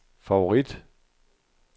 favorit